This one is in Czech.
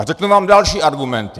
A řeknu vám další argument.